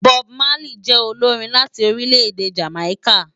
Bob Marley jè ólórin láti órilè-èdé Jámáiká